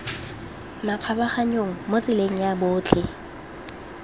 makgabaganyong mo tseleng ya botlhe